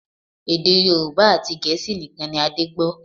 Èdè Yorùbá àti Gẹ̀ẹ́sì nìkan ni Adé gbọ́